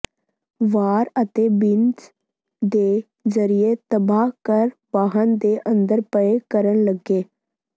ਵਾਰ ਅਤੇ ਬੀਨਜ਼ ਦੇ ਜ਼ਰੀਏ ਤਬਾਹ ਕਰ ਵਾਹਨ ਦੇ ਅੰਦਰ ਪਏ ਕਰਨ ਲੱਗੇ